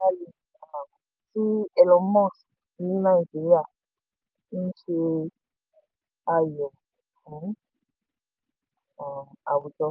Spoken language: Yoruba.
ifilọlẹ starlink um ti elon musk ní nàìjíríà ń ṣe ayọ̀ fún um àwùjọ.